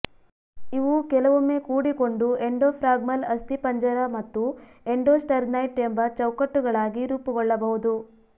ಇವು ಕೆಲವೊಮ್ಮೆ ಕೂಡಿಕೊಂಡು ಎಂಡೊಫ್ರಾಗ್ಮಲ್ ಅಸ್ಥಿಪಂಜರ ಮತ್ತು ಎಂಡೊಸ್ಟರ್ನೈಟ್ ಎಂಬ ಚೌಕಟ್ಟುಗಳಾಗಿ ರೂಪುಗೊಳ್ಳಬಹುದು